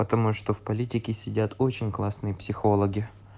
потому что в политике сидят очень классные психологи